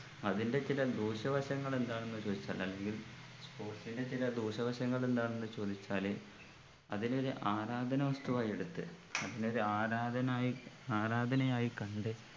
അതിൻ്റെ ചില ദൂഷ്യവശങ്ങൾ എന്താണെന്ന് ചോയ്ച്ചാൽ അല്ലെങ്കിൽ sports ന്റെ ചില ദൂഷ്യവശങ്ങൾ എന്താണെന്ന് ചോദിച്ചാല് അതിനെ ഒരു ആരാധന വസ്തുവായി എടുത്ത് അതിനെ ഒരു ആരാധനായി ആരാധനയായി കണ്ട്